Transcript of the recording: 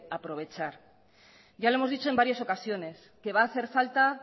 aprovechar ya lo hemos dicho en varias ocasiones va a hacer falta